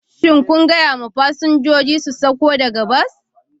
Shin kun gaya wa fasinjoji su sauko daga bas?